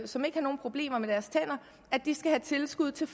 som ikke har nogen problemer med deres tænder skal have tilskud til